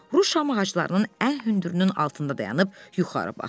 Ru şam ağaclarının ən hündürünün altında dayanıb yuxarı baxdı.